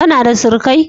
Kana da surukai?